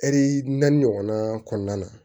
Ɛri naani ɲɔgɔn kɔnɔna na